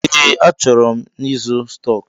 Ee, achọrọ m ịzụ stọks.